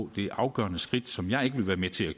det afgørende skridt som jeg ikke vil være med til at